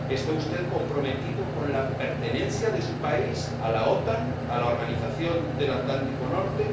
¿Está usted comprometido con la pertenencia de su país a la OTAN?